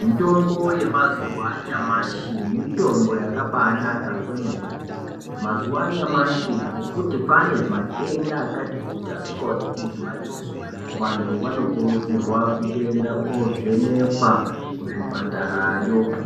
Mitombo yemazuwa anyamashi mitombo yakabaanaka kwemene. Mazuwa anyamashi ngekuti kwaane matenda akatikuti asikaoneki ngemadziso, vantu vanokurudzirwa kutoenda koovhenekwa kuzvipatarayo.